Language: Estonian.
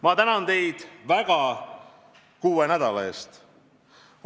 Ma tänan teid väga viimase kuue nädala eest!